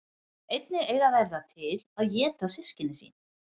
Einnig eiga þær það til að éta systkini sín.